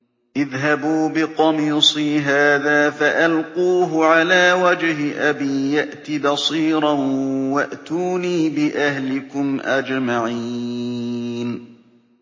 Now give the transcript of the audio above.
اذْهَبُوا بِقَمِيصِي هَٰذَا فَأَلْقُوهُ عَلَىٰ وَجْهِ أَبِي يَأْتِ بَصِيرًا وَأْتُونِي بِأَهْلِكُمْ أَجْمَعِينَ